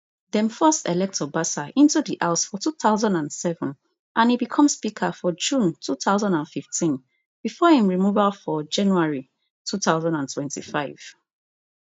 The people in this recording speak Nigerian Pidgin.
dem first elect obasa into di house for two thousand and seven and e become speaker for june two thousand and fifteen bifor im removal for january two thousand and twenty-five